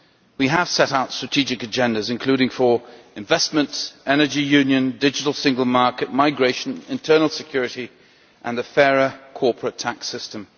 We have set out strategic agendas, including for investment, energy union, the digital single market, migration, internal security and a fairer corporate tax system.